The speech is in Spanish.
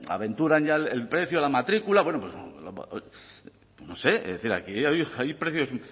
aventuran ya el precio de la matrícula no sé es decir aquí hay precios